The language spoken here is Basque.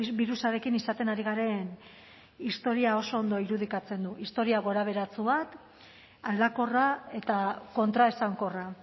birusarekin izaten ari garen historia oso ondo irudikatzen du historia gorabeheratsu bat aldakorra eta kontraesankorra